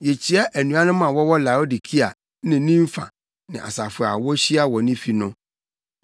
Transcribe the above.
Yekyia anuanom a wɔwɔ Laodikea ne Nimfa ne asafo a wohyia wɔ ne fi no.